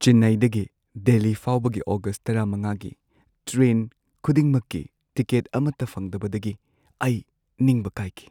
ꯆꯦꯟꯅꯥꯏꯗꯒꯤ ꯗꯦꯜꯂꯤ ꯐꯥꯎꯕꯒꯤ ꯑꯣꯒꯁꯠ ꯱꯵ꯒꯤ ꯇ꯭ꯔꯦꯟ ꯈꯨꯗꯤꯡꯃꯛꯀꯤ ꯇꯤꯀꯦꯠ ꯑꯃꯠꯇ ꯐꯪꯗꯕꯗꯒꯤ ꯑꯩ ꯅꯤꯡꯕ ꯀꯥꯏꯈꯤ ꯫